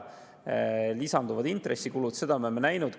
Lisanduvad intressikulud, seda me oleme näinud.